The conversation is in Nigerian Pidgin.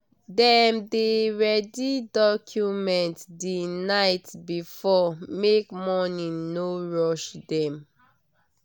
dem dey ready document the night before make morning no rush dem.